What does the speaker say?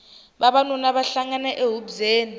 vavanuna va hlangana e hubyeni